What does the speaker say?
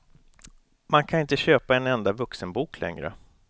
Man kan inte köpa en enda vuxenbok längre.